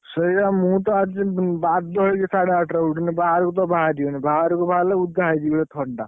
ସେଇଆ ମୁଁ ତ ଆଜି ବାଧ୍ୟ ହେଇକି ଆଜି ସାଢେ ଆଠଟାରେ ଉଠିଛି, ନହେଲେ ବାହାରକୁ ତ ବାହାରି ହଉନି ବାହାରକୁ ବାହାରିଲେ ଓଦା ହେଇଯିବି ଥଣ୍ଡା।